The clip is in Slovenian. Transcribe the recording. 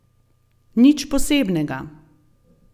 Nič posebnega.